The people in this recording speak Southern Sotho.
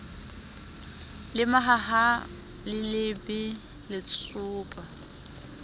le mahaha le lebe letsopa